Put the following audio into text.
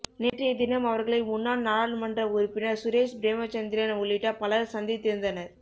நேற்றைய தினம் அவர்களை முன்னாள் நாடாளுமன்ற உறுப்பினர் சுரேஷ் பிரேமசந்திரன் உள்ளிட்ட பலர் சந்தித்திருந்தனர்